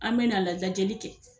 An me na la lajɛli kɛ